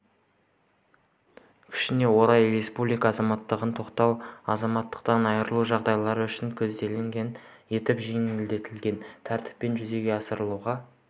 күшіне орай республика азаматтығын тоқтату азаматтықтан айрылу жағдайлары үшін көзделгендей етіп жеңілдетілген тәртіппен жүзеге асырылуға